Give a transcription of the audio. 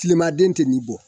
Tilemaden tɛ nin bɔ